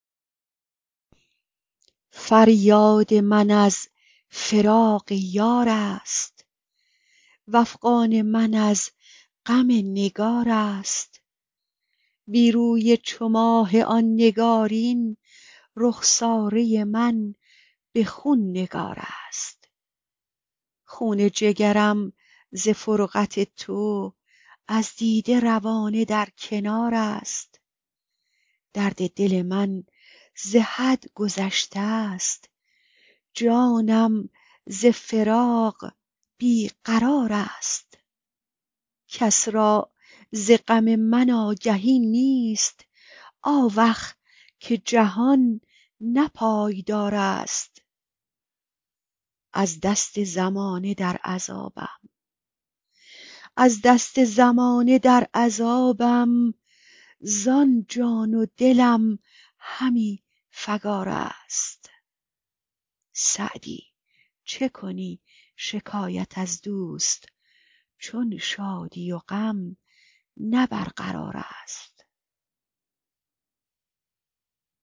فریاد من از فراق یار است وافغان من از غم نگار است بی روی چو ماه آن نگارین رخساره من به خون نگار است خون جگرم ز فرقت تو از دیده روانه در کنار است درد دل من ز حد گذشته ست جانم ز فراق بی قرار است کس را ز غم من آگهی نیست آوخ که جهان نه پایدار است از دست زمانه در عذابم زان جان و دلم همی فکار است سعدی چه کنی شکایت از دوست چون شادی و غم نه برقرار است